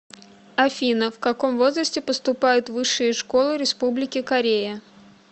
афина в каком возрасте поступают в высшие школы республики корея